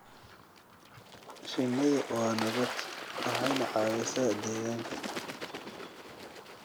Shinnidu waa nabad waxayna caawisaa deegaanka.